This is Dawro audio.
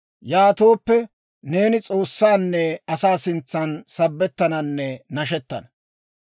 Yaatooppe, neeni S'oossaanne asaa sintsan sabettananne nashettana.